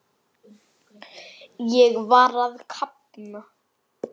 Ég var að kafna.